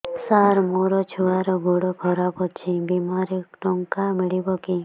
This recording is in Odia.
ସାର ମୋର ଛୁଆର ଗୋଡ ଖରାପ ଅଛି ବିମାରେ ଟଙ୍କା ମିଳିବ କି